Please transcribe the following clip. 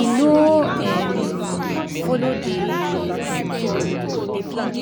e no um follow dey um the plan.